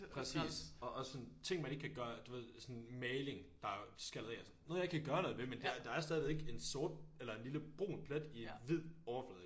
Præcis og også sådan ting man ikke kan gøre du ved sådan maling der er skallet af og sådan noget jeg ikke kan gøre noget ved men der der er stadigvæk en sort eller en lille brun plet i en hvid overflade